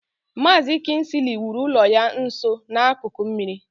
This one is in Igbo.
Maazi kingsley wuru ụlọ ya nso n'akụkụ osimiri.